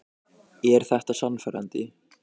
Er þetta sannfærandi?